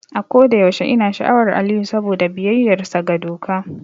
A kodayaushe ina sha'awar Aliyu saboda biyayyarsa ga doka.